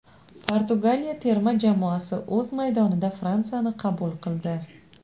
Portugaliya terma jamoasi o‘z maydonida Fransiyani qabul qildi.